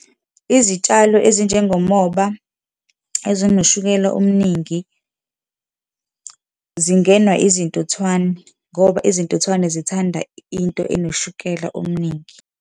Izitshalo ezinjengomoba, ezinoshukela omningi zingenwa izintuthwane ngoba izintuthwane zithanda into enoshukela omningi.